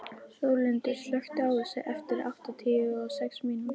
Þórlindur, slökktu á þessu eftir áttatíu og sex mínútur.